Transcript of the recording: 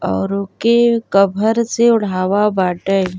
और ऊके कभर से ओढ़ावा बाटे।